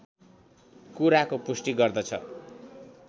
कुराको पुष्टि गर्दछ